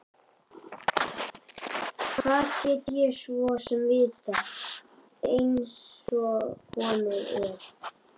Hvað get ég svo sem vitað einsog komið er?